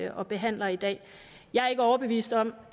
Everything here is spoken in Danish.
og behandler i dag jeg er ikke overbevist om